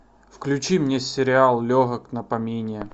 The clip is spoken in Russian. включи мне сериал легок на помине